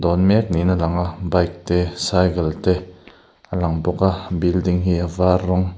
dawn mek niin a lang a bike te cycle te a lang bawk a building hi a var rawng--